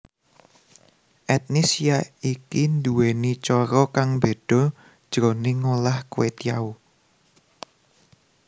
Etnis yaiki nduwèni cara kang beda jroning ngolah kwetiau